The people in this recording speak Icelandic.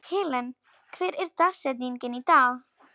Helen, hver er dagsetningin í dag?